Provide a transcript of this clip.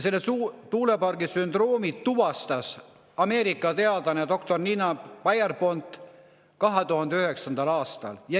Tuulepargi sündroomi tuvastas Ameerika teadlane doktor Nina Pierpont 2009. aastal.